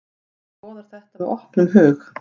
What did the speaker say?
Maður skoðar þetta með opnum hug.